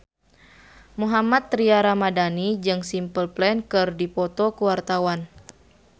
Mohammad Tria Ramadhani jeung Simple Plan keur dipoto ku wartawan